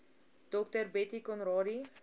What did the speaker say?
dr bettie conradie